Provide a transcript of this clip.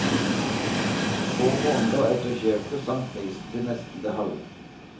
Få måneder etter kjøpet sank prisen til nesten det halve.